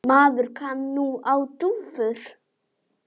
Maður kann nú á dúfur!